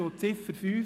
Zu Ziffer 5: